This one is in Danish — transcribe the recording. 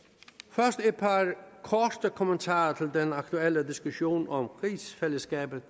først et par korte kommentarer til den aktuelle diskussion om rigsfællesskabet